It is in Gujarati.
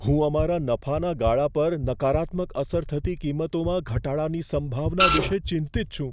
હું અમારા નફાના ગાળા પર નકારાત્મક અસર થતી કિંમતોમાં ઘટાડાની સંભાવના વિશે ચિંતિત છું.